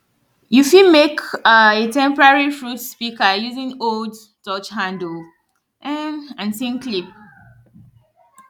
you fit mek um a temporary fruit pika using old torch handle um and tin clip